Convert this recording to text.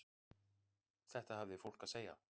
Þetta hafði fólk að segja.